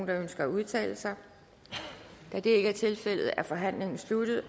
der ønsker at udtale sig da det ikke er tilfældet er forhandlingen sluttet og